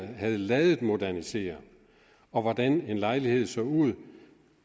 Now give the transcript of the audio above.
havde ladet den modernisere og hvordan en lejlighed så ud